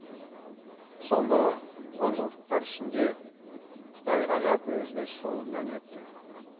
соңғы онжылдықтар ішінде қытай ғажап өзгеріс жолынан өтті